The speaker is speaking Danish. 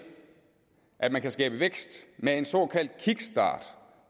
at man kan skabe vækst med en såkaldt kickstart